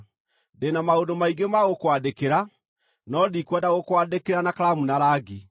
Ndĩ na maũndũ maingĩ ma gũkwandĩkĩra, no ndikwenda gũkwandĩkĩra na karamu na rangi.